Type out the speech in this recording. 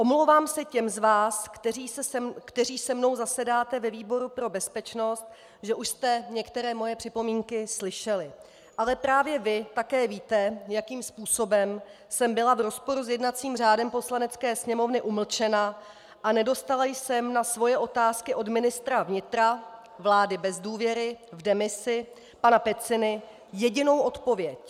Omlouvám se těm z vás, kteří se mnou zasedáte ve výboru pro bezpečnost, že už jste některé moje připomínky slyšeli, ale právě vy také víte, jakým způsobem jsem byla v rozporu s jednacím řádem Poslanecké sněmovny umlčena a nedostala jsem na svoje otázky od ministra vnitra vlády bez důvěry v demisi, pana Peciny, jedinou odpověď.